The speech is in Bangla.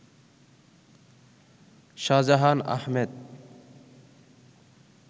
শাহজাহান আহমেদ